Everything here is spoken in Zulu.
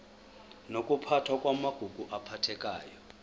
nokuphathwa kwamagugu aphathekayo